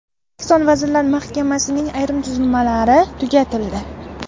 O‘zbekiston Vazirlar Mahkamasining ayrim tuzilmalari tugatildi.